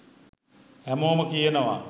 හෑමෝම කියනවා